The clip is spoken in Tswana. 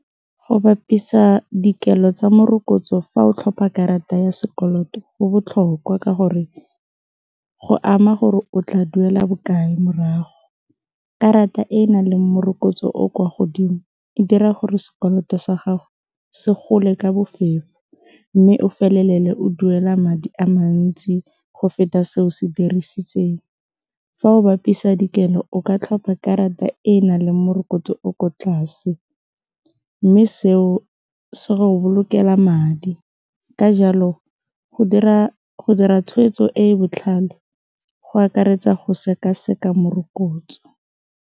Go bapisa dikelo tsa morokotso fa o tlhopha karata ya sekoloto go botlhokwa ka gore go ama gore o tla duela bokae morago, karata e e nang le morokotso o o kwa godimo e dira gore sekoloto sa gago se gole ka bofefo mme o felelele o duela madi a mantsi go feta se o se dirisitseng fa o bapisa dikelo o ka tlhopha karata e e nang le morokotso o o ko tlase, mme seo se go bolokelang madi. Ka jalo go dira tshweetso e e botlhale go akaretsa go seka-seka morokotso.